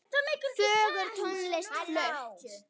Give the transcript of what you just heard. Fögur tónlist flutt.